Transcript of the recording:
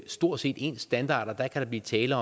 stort set ens standarder kan der blive tale